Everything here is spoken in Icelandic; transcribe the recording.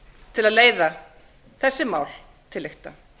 til að leiða þessi mál til lykta